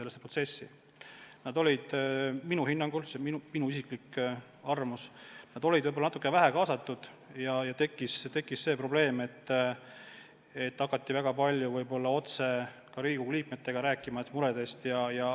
Töötajad olid minu hinnangul – see on minu isiklik arvamus – võib-olla natuke vähe kaasatud ja tekkis see probleem, et hakati väga palju võib-olla otse ka Riigikogu liikmetega oma muredest rääkima.